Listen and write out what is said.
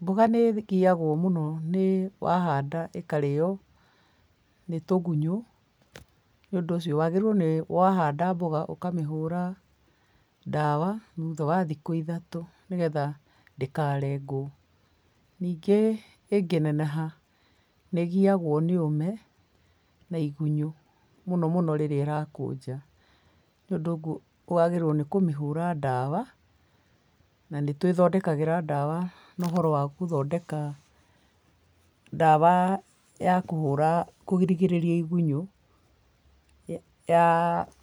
Mboga nĩgiagwo mũno nĩ wahanda ĩkarĩo nĩ tũgunyo nĩũndũ ũcio wagĩrĩirwo wahanda mboga ũkamĩhũra ndawa thutha wa thikũ ithatũ nĩgetha ndĩkarengwo. Ningĩ ĩngĩneneha nĩgiagwo nĩũme na igunyũ mũno mũno rĩrĩa ĩrakũnja nĩũndũ wagĩrĩiruo nĩ kũmĩhũra ndawa na nĩtwĩthondekagĩra ndawa na ũhoro wa gũthondeka ndawa ya kũhũra kũrigĩrĩria igunyo ya